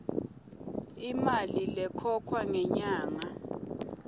imali lekhokhwa ngenyanga